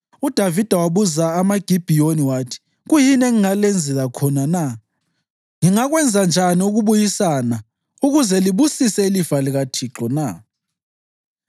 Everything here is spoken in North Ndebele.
UDavida wabuza amaGibhiyoni wathi, “Kuyini engingalenzela khona na? Ngingakwenza njani ukubuyisana ukuze libusise ilifa likaThixo na?”